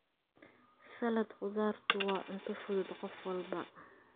Salad khudaartu waa cunto fudud qof walba.